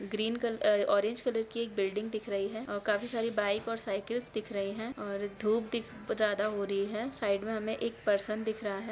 Green colour और orange colour की एक बिल्डिंग दिख रही है और काफी सारी बाइक और सयकिल्स दिख रही है और धुप दिख ज्यादा हो रही है साइड में हमें एक परसन दिख रहा है।